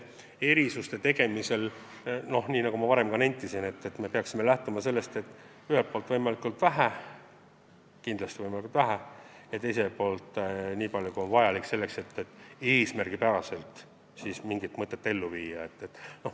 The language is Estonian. Erisuste tegemisel, nagu ma juba nentisin, me peaksime lähtuma põhimõttest teha nii vähe kui võimalik ja teiselt poolt nii palju, kui on vajalik, et mingi hea mõte ellu viia.